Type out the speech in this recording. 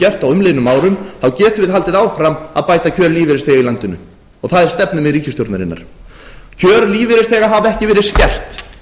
gert á umliðnum árum getum við haldið áfram að bæta kjör lífeyrisþega í landinu og það er stefnumið ríkisstjórnarinnar kjör lífeyrisþega hafa ekki verið skert